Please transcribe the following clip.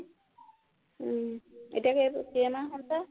উম এতিয়া কেইমাহ হৈছে